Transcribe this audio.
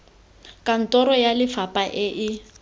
kantoro ya lefapha e e